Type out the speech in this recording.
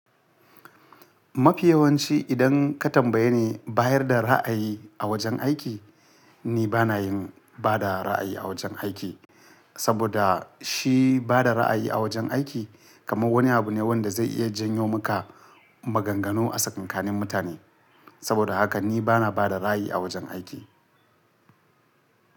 Mafi yawanci idan ka tambaye ni bayar da ra'ayi a wajen aiki, ni bana yin ba da ra'ayi a wajen aiki saboda shi ba da ra'ayi a wajen aiki kamar wani abu ne wanda zai iya janyo maka maganganu a tsakan kanin mutane. Saboda haka ni bana ba da ra'ayi a wajen aiki.